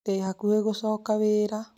Ndĩ hakuhĩ gũcoka wira